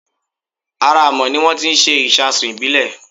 Ara Amọ̀ ni wón ti ń ṣe ìṣasùn ìbílè